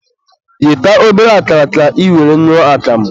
ghete obere akara ka ị were ñụọ akamụ.